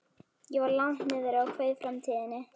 Ég var langt niðri og kveið framtíðinni.